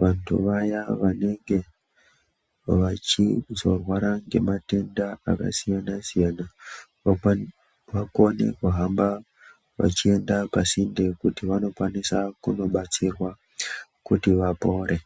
vandu vaya vanenge vachizorwara ngematenda akasiyana siyana vakone kuhamba vachienda pasinde kuti vanokwanisa kubatsirwa kuti vapore.